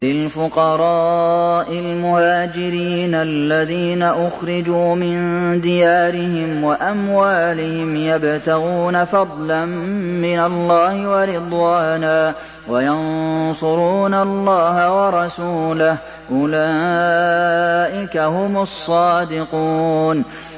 لِلْفُقَرَاءِ الْمُهَاجِرِينَ الَّذِينَ أُخْرِجُوا مِن دِيَارِهِمْ وَأَمْوَالِهِمْ يَبْتَغُونَ فَضْلًا مِّنَ اللَّهِ وَرِضْوَانًا وَيَنصُرُونَ اللَّهَ وَرَسُولَهُ ۚ أُولَٰئِكَ هُمُ الصَّادِقُونَ